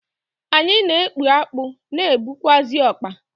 Anyi n'ekpu akpụ na ekpukwazị ọkpa.